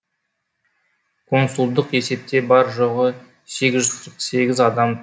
консулдық есепте бар жоғы сегіз жүз қырық сегіз адам